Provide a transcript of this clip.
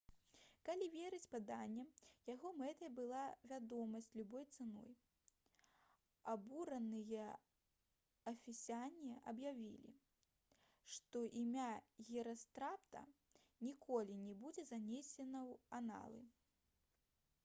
калі верыць паданням яго мэтай была вядомасць любой цаной абураныя эфесяне аб'явілі што імя герастрата ніколі не будзе занесена ў аналы